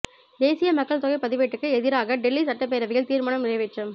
தேசிய மக்கள் தொகை பதிவேட்டுக்கு எதிராக டெல்லி சட்டப்பேரவையல் தீர்மானம் நிறைவேற்றம்